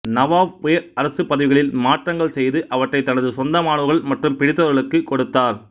நவாப் உயர் அரசு பதவிகளில் மாற்றங்கள் செய்து அவற்றை தனது சொந்தமானவர்கள் மற்றும் பிடித்தவர்களுக்கு கொடுத்தார்